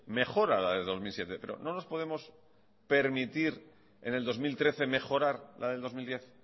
mejora la de dos mil siete pero no nos podemos permitir en el dos mil trece mejorar la del dos mil diez